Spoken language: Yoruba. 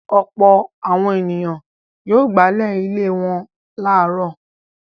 Ọ̀pọ̀ àwọn ènìyàn yóò gbálẹ̀ ilé wọn láàárọ̀.